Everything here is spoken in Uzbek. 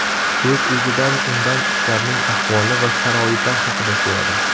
O‘z-o‘zidan undan ishlarning ahvoli va sharoitlar haqida so‘radim.